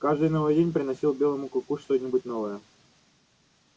каждый новый день приносил белому клыку что нибудь новое